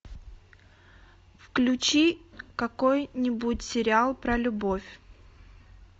включи какой нибудь сериал про любовь